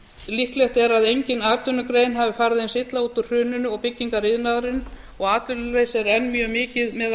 líklega fór engin atvinnugrein eins illa út úr hruninu og byggingariðnaðurinn og atvinnuleysi er enn mjög mikið meðal